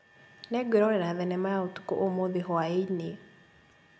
Nĩngwĩrorera thenema ya ũthuthuria ũmũthi hwaĩ-inĩ